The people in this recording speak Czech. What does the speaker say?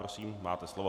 Prosím, máte slovo.